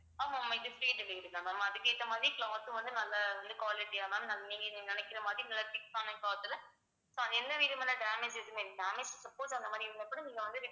ஆமா ma'am இது free delivery தான் ma'am அதுக்கு ஏத்த மாதிரி cloth ம் வந்து நல்லா வந்து quality அ ma'am நீங்க நினைக்கிற மாதிரி நல்லா thick ஆன cloth த்துல so என்ன விதமான damage எதுவுமே damage suppose அந்த மாதிரி இருந்தா கூட நீங்க வந்து